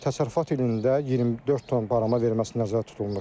Təsərrüfat ilində 24 ton barama verilməsi nəzərdə tutulmuşdur.